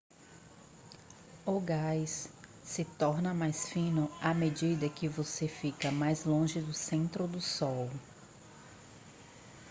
o gás se torna mais fino à medida que você fica mais longe do centro do sol